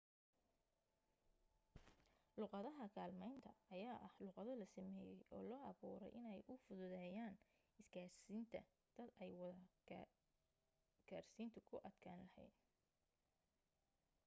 luuqadaha kaalmaynta ayaa ah luuqado la sameeyey oo loo abuuray inay u fududeyaan isgaarsiinta dad ay wada gaarsiintu ku adkaan lahayd